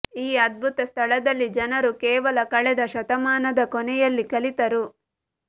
ಈ ಅದ್ಭುತ ಸ್ಥಳದಲ್ಲಿ ಜನರು ಕೇವಲ ಕಳೆದ ಶತಮಾನದ ಕೊನೆಯಲ್ಲಿ ಕಲಿತರು